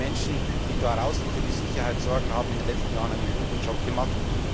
Die Menschen, die draußen für die Sicherheit sorgen, haben in den letzten Jahren einen guten Job gemacht.